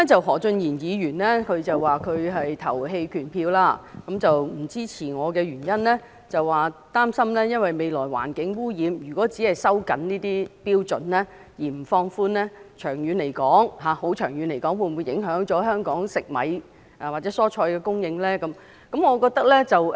何俊賢議員表示他會投棄權票，他不支持我的原因是他擔心未來環境污染，如果只是收緊這些標準而不予放寬，長遠來說，會否影響香港食米或蔬菜的供應呢？